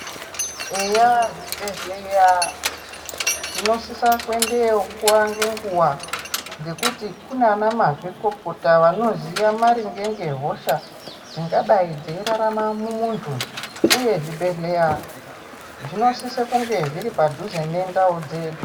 Eyaa zvibhendleya tinosisa kuendeyo nguwa nenguwa. Ngekuti kunaana mazvikokota anoziye maringe ngehosha dzingadai dzeirarama mumuntu. Uye zvibhedhleya zvinosise kunge zviri padhuze nendau dzedu.